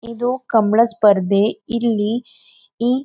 ಇದು ಕಂಬಳ ಸ್ಪರ್ಧೆ ಇಲ್ಲಿ ಈ--